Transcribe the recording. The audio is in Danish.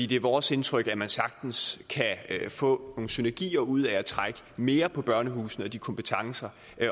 det er vores indtryk at man sagtens kan få nogle synergier ud af at trække mere på børnehusene og de kompetencer